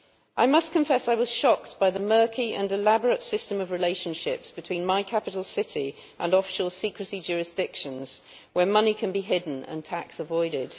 I must confess I was shocked by the murky and elaborate system of relationships between my capital city and offshore secrecy jurisdictions, where money can be hidden and tax avoided.